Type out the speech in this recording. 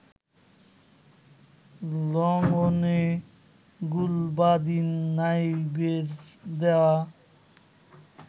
লংঅনে গুলবাদিন নাইবের দেয়া